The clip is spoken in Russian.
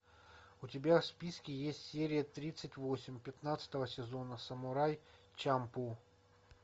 у тебя в списке есть серия тридцать восемь пятнадцатого сезона самурай чамплу